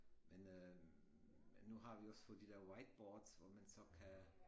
Men øh men nu har vi også fået de der whiteboards hvor man så kan